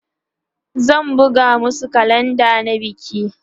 zai buga masu kalenda na biki